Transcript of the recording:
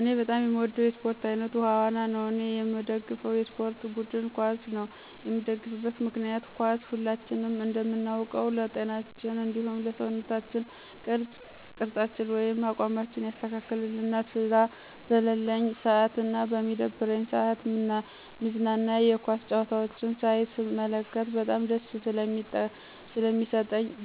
እኔ በጣም የምወደው የስፖርት አይነት ውሀ ዋና ነው እኔየምደግፈው የስፖርት ቡድን ኳስ ነው የምደግፍበት ምክንያት ኳስ ሁላችንም እንደምናውቀው ለጤናችን እንዲሁም ለሰውነት ቅርፃችን ወይም አቋማችን ያስተካክልልናል ስራ በለለኝ ስአትና በሚደብረኝ ስአት ምዝናና የኳስ ጨዋታዎችን ሳይ ስመለከት በጣም